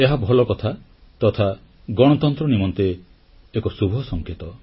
ଏହା ଭଲକଥା ତଥା ଗଣତନ୍ତ୍ର ନିମନ୍ତେ ଏକ ଶୁଭସଂକେତ